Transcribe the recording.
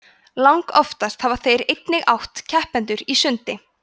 langoftast hafa þeir einnig átt keppendur í sundi